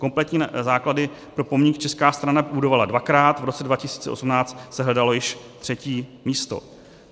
Kompletní základy pro pomník česká strana budovala dvakrát, v roce 2018 se hledalo již třetí místo.